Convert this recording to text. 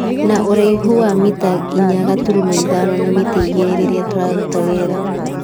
Na ũraihu wa mita inya gaturumo ithano na mita igĩrĩ rĩrĩa tũraruta wĩra.